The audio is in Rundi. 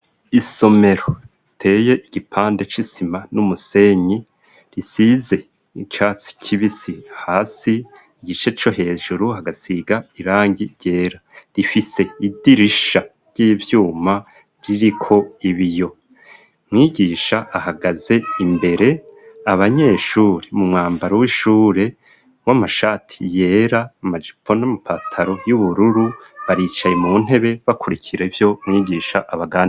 Isomero teye igipande c'isima n'umusenyi risize icatsi kibisi hasi igice co hejuru hagasiga irangi ryera rifise idirisha ry'ivyuma ririko ibiyo mwigisha ahagaze imbere abanyenshure mumwambaro w'ishure mwo amashati yera amajipo n'amapataro y'ubururu baricaye mu ntebe bakurikira ivyo mwigisha abaganda.